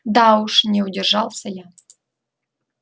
да уж не удержался я